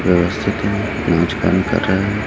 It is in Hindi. कर रहा है।